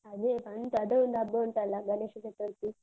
ಅದೆ ಬಂತು. ಅದು ಒಂದು ಹಬ್ಬ ಉಂಟಲ್ಲ ಗಣೇಶ ಚತುರ್ಥಿ.